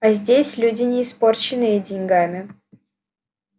а здесь люди не испорченные деньгами